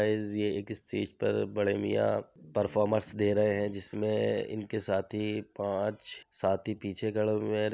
guys ये एक stage पर बड़े मिया परमॉर्मेस दे रहे है जिसमे इनके साथी पांच साथी पीछे खड़े हुए हैं |